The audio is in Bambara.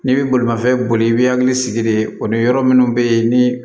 N'i bɛ bolimafɛn boli i b'i hakili sigi de o ni yɔrɔ minnu bɛ yen ni